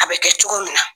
A bɛ kɛ cogo min na